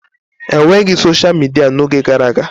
E nweghị soshal midia n'oge gara aga.